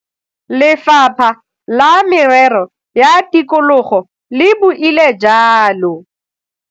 Lefapha la Merero ya Tikologo le buile jalo.